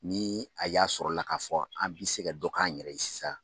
Ni a y'a sɔrɔ la ka fɔ an bi se ka dɔ k'an yɛrɛ ye sisan.